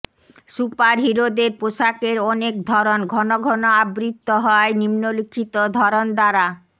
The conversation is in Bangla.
সুপারহিরোদের পোশাকের অনেক ধরন ঘন ঘন আবৃত্ত হয় নিম্নোল্লিখিত ধরন দ্বারাঃ